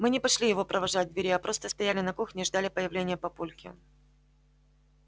мы не пошли его провожать к двери а просто стояли на кухне и ждали появления папульки